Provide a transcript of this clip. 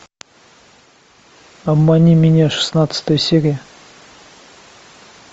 обмани меня шестнадцатая серия